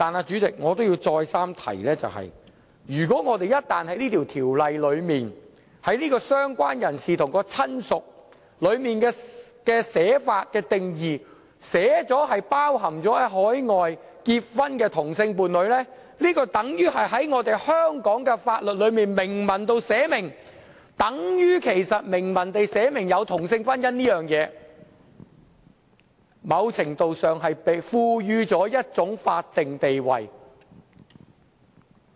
主席，我要再三提醒，如果在這項條例草案中，訂明"相關人士"和"親屬"的定義涵蓋海外結婚的同性伴侶，那便等於在香港法例中明文訂明有同性婚姻這回事，在某程度上，是賦予同性婚姻一種法定地位。